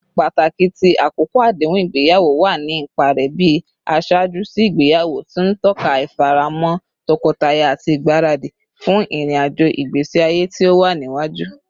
Pataki ti akoko adehun igbeyawo wa ni ipa rẹ bi aṣaaju si igbeyawo, ti n tọka ifaramo tọkọtaya ati igbaradi fun irin-ajo igbesi aye ti o wa niwaju.